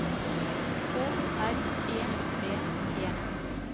K R E V E